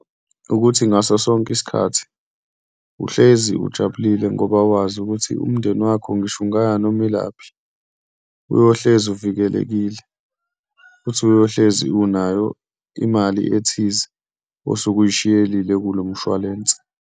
Ukuthi ngaso sonke isikhathi uhlezi ujabulile ngoba wazi ukuthi umndeni wakho, ngisho ungaya noma ilaphi, uyohlezi uvikelekile futhi uyohlezi unayo imali ethize osuke oyishiyelile kulo mshwalense.